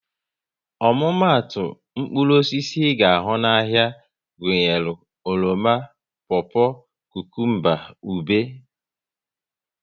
Omumatu mkpụrụ osisi ị ga ahụ n'ahia gụnyere oroma, popo, kukumba, ube